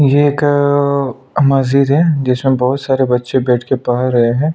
ये एक मस्जिद है जिसमें बहुत सारे बच्चे बैठ के पढ़ रहे हैं।